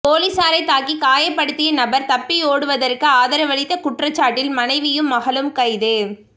பொலிஸாரை தாக்கி காயப்படுத்திய நபர் தப்பியோடுவதற்கு ஆதரவளித்த குற்றச்சாட்டில் மனைவியும் மகளும் கைது